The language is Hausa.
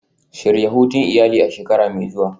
Shirya hutun iyali a shekara mai zuwa.